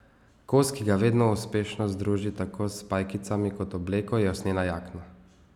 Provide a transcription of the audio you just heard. Kos, ki ga vedno uspešno združi tako s pajkicami kot obleko, je usnjena jakna.